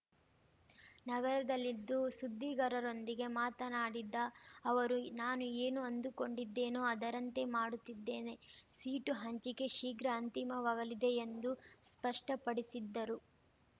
ನಗರದಲ್ಲಿಂದು ಸುದ್ದಿಗಾರರೊಂದಿಗೆ ಮಾತನಾಡಿದ ಅವರು ನಾನು ಏನು ಅಂದುಕೊಂಡಿದ್ದೇನೋ ಅದರಂತೆ ಮಾಡುತ್ತಿದ್ದೇನೆ ಸೀಟು ಹಂಚಿಕೆ ಶೀಘ್ರ ಅಂತಿಮವಾಗಲಿದೆ ಎಂದು ಸ್ಪಷ್ಟಪಡಿಸಿದ್ದರು